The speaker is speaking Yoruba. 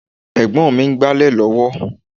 Ẹ̀gbọ́n mi ń gbálẹ̀ lọ́wọ́